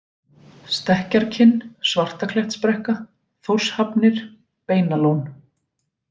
Stekkjarkinn, Svartaklettsbrekka, Þórshafnir, Beinalón